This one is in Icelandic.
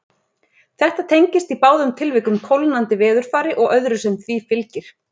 Þetta tengist í báðum tilvikum kólnandi veðurfari og öðru sem því fylgir.